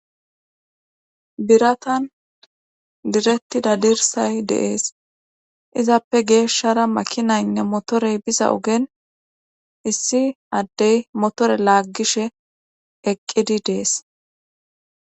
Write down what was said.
Biratan direttida dirsay deees izappe geeshshara makinaynne motorey biza ogen issi addey motore laaggishe eqqidi dees.